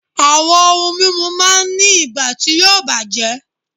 Àwọn ohun mímu máa ń ní ìgbà tí yóò bàjẹ́